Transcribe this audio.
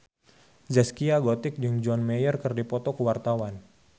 Zaskia Gotik jeung John Mayer keur dipoto ku wartawan